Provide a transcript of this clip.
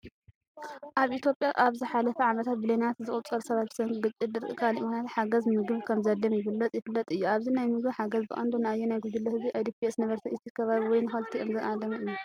ኣብ ኢትዮጵያ ኣብ ዝሓለፉ ዓመታት ብሚልዮናት ዝቑጸሩ ሰባት ብሰንኪ ግጭት፣ ድርቂ፣ ካልእ ምኽንያታት ሓገዝ ምግቢ ከምዘድልዮም ይግለጽ/ይፍለጥ እዩ። ኣብዚ ናይ ምግቢ ሓገዝ ብቐንዱ ንኣየናይ ጉጅለ ህዝቢ (IDPs፣ ነበርቲ እቲ ከባቢ፣ ወይ ንኽልቲኦም) ዝዓለመ እዩ?